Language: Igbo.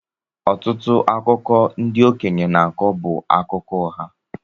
Ọtụtụ akụkọ ndị okeñye n'akọ bú akụkọ ụgha.